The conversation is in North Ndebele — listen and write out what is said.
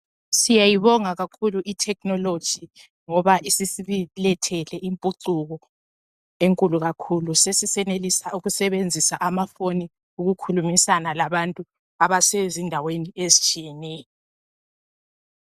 Siyayibonga kakhulu ithekhinoloji ngoba isisilethele impucuko enkulu kakhulu sesisenelisa ukusebenzisa amafoni ukukhulumisana labantu abasezindaweni ezitshiyeneyo.